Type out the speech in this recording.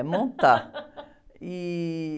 É, montar. E...